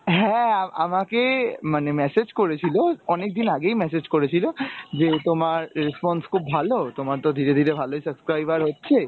হ্যাঁ আমাকে মানে message করেছিল অনেকদিন আগেই message করেছিল যে তোমার response খুব ভালো তোমার তো ধীরে ধীরে ভালোই subscriber হচ্ছে,